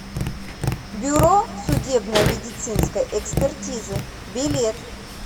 бюро судебно медицинской экспертизы билет